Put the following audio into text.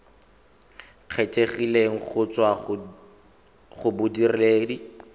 kgethegileng go tswa go bodiredi